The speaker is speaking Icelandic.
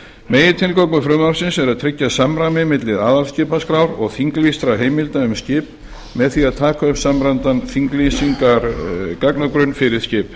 megintilgangur frumvarpsins er að tryggja samræmi milli aðalskipaskrár og þinglýstra heimilda um skip með því að taka upp samræmdan þinglýsingargagnagrunn fyrir skip